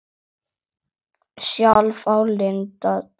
Sjálf á Linda tvo stráka.